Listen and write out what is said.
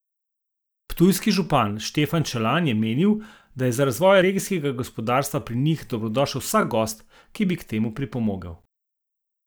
Ptujski župan Štefan Čelan je menil, da je za razvoj regijskega gospodarstva pri njih dobrodošel vsak gost, ki bi k temu pripomogel.